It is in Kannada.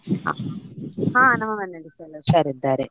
ಹಾ ನಮ್ಮ ಮನೆಯಲ್ಲಿಸ ಹುಷಾರಿದ್ದಾರೆ.